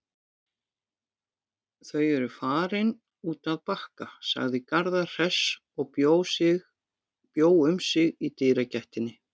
Þau eru farin út að Bakka, sagði Garðar hress og bjó um sig í dyragættinni.